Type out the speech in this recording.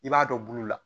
I b'a dɔn bulu la